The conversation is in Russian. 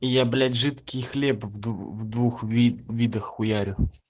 я блять жидкий хлеб в двух видах хуярю